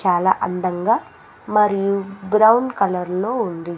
చాలా అందంగా మరియు బ్రౌన్ కలర్లో ఉంది.